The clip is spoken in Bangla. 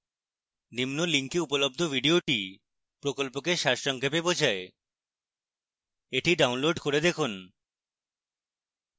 নিম্ন link উপলব্ধ video প্রকল্পকে সারসংক্ষেপ বোঝায়